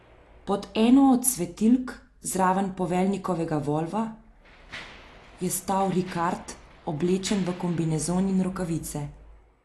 Pod eno od svetilk, zraven poveljnikovega volva, je stal Rikard, oblečen v kombinezon in rokavice.